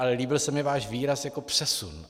Ale líbil se mi váš výraz jako přesun.